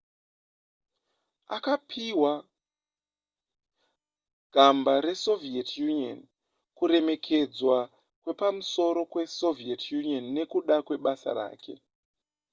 akapihwa gamba resoviet union kuremekedzwa kwepamusoro kwesoviet union nekuda kwebasa rake